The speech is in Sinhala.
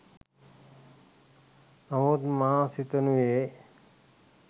නමුත් මා සිතනුයේ